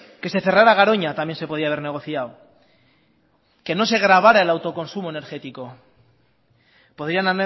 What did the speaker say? que se cerrara garoña también se podía haber negociado que no se gravara el autoconsumo energético podían